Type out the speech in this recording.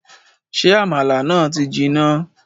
Ṣé àmàlà náà ti jiná